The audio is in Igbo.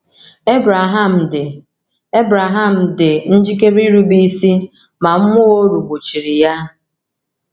Ebreham dị Ebreham dị njikere irube isi ma mmụọ oru gbochiri ya.